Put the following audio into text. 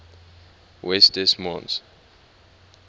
west des moines